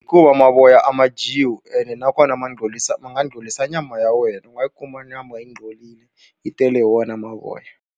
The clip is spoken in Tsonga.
Hikuva mavoya a ma dyiwi ene nakona ma ngcorisa ma nga ngcorisa nyama ya wena, u nga yi kuma nyama yi ngcolile yi tele hi wona mavoya.